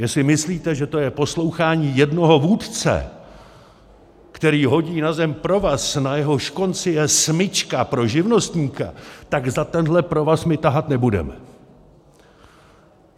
Jestli myslíte, že to je poslouchání jednoho vůdce, který hodí na zem provaz, na jehož konci je smyčka pro živnostníka, tak za tenhle provaz my tahat nebudeme!